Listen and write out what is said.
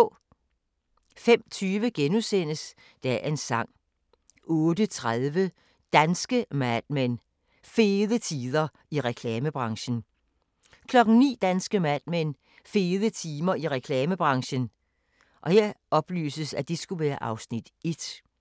05:20: Dagens Sang * 08:30: Danske Mad Men: Fede tider i reklamebranchen 09:00: Danske Mad Men: Fede tider i reklamebranchen (Afs. 1) 09:30: Danske Mad Men: Fede tider